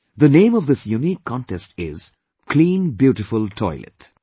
The name of this unique contest is "Clean beautiful Toilet"